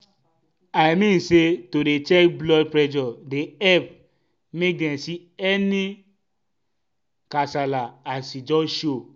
i mean say to dey check blood pressure dey epp make dem see any kasala as e just show.